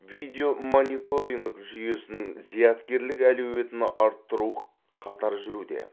видеомониторинг жүйесінің зияткерлік әлеуетін арттыру қатар жүруде